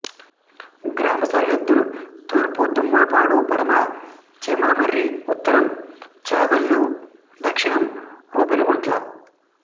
గ్రామ సరిహద్దులు తూర్పు దమ్మాలపాడు పడమర చీమలమర్రి ఉత్తరం చాగల్లు దక్షిణం రూపనగుంట్ల